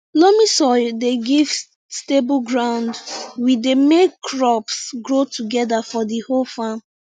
loamy soil dey give stable ground we dey make crops grow togeda for di whole farm